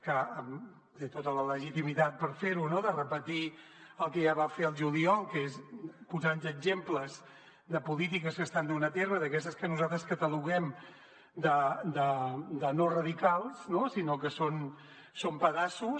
que té tota la legitimitat per fer ho no de repetir el que ja va fer al juliol que és posar nos exemples de polítiques que s’estan duent a terme d’aquestes que nosaltres cataloguem de no radicals sinó que són pedaços